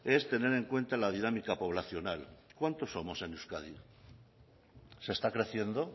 es tener en cuenta la dinámica poblacional cuántos somos en euskadi se está creciendo